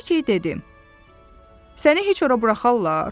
Lakey dedi: "Səni heç ora buraxarlar?"